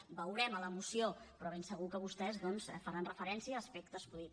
ho veurem a la moció però ben segur que vostès doncs faran referència a aspectes vull dir